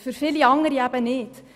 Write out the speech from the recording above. Für viele andere aber nicht.